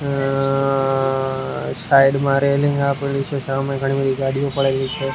અ side માં railing આપેલી છે સામે ઘણી બધી ગાડીઓ પડેલી છે.